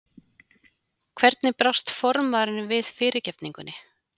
Hvernig brást formaðurinn við fyrirgefningunni?